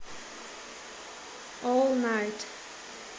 ол найт